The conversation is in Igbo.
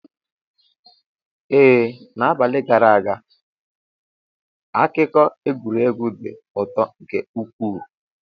Ee, n'abalị gara aga akụkọ egwuregwu dị ụtọ nke ukwuu.